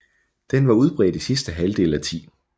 Den var udbredt i sidste halvdel af 10